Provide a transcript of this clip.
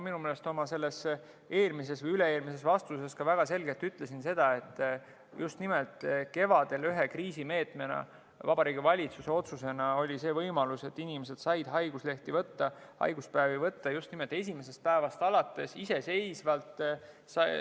Minu meelest oma eelmises või üle-eelmises vastuses ma ütlesin väga selgelt, et just nimelt kevadel Vabariigi Valitsuse otsusega anti ühe kriisimeetmena see võimalus, et inimesed said haiguslehti võtta, haiguspäevi võtta esimesest päevast alates iseseisvalt.